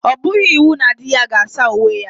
Ọ bụghị iwu na di ya ga saa uwe ya.